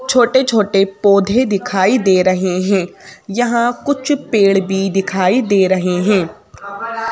छोटे छोटे पौधे दिखाई दे रहे हैं यहाँ कुछ पेड़ भी दिखाई दे रहे हैं।